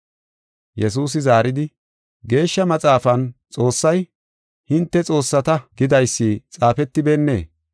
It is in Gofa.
Yesuusi zaaridi, “Geeshsha Maxaafan Xoossay, ‘Hinte xoossata’ gidaysi xaafetibeennee?